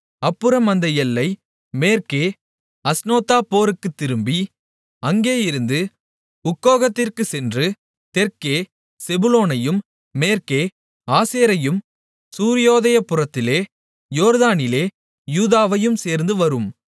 அப்புறம் அந்த எல்லை மேற்கே அஸ்னோத்தாபோருக்குத் திரும்பி அங்கேயிருந்து உக்கோகக்கிற்குச் சென்று தெற்கே செபுலோனையும் மேற்கே ஆசேரையும் சூரியோதயப்புறத்திலே யோர்தானிலே யூதாவையும் சேர்ந்து வரும்